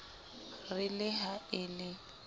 re le ha e le